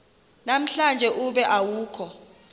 namhlanje ube awukho